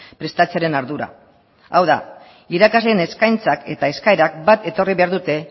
prestatzearen ardura hau da irakasleen eskaintzak eta eskaerak bat etorri behar dute